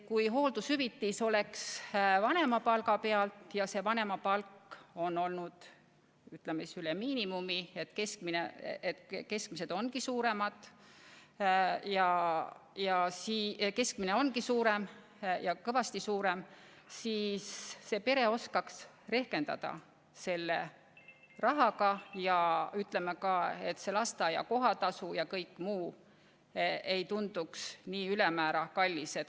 Kui hooldushüvitis arvestataks vanemapalga pealt ja see vanemapalk on olnud üle miinimumi – keskmine ongi suurem, ja kõvasti suurem –, siis see pere saaks arvestada selle rahaga ja lasteaia kohatasu ja kõik muu ei tunduks nii ülemäära kallis.